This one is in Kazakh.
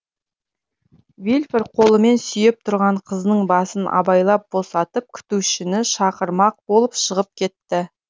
вильфор қолымен сүйеп тұрған қызының басын абайлап босатып күтушіні шақырмақ болып шығып кетті